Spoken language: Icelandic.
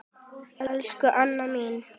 Elsku Anna mín.